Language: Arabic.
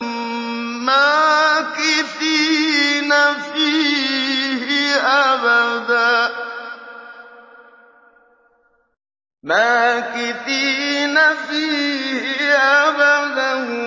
مَّاكِثِينَ فِيهِ أَبَدًا